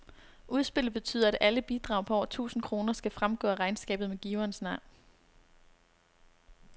Udspillet betyder, at alle bidrag på over tusind kroner skal fremgå af regnskabet med giverens navn.